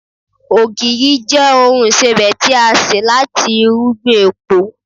ogiri je oun isebẹ ti a se lati irúgbìn epo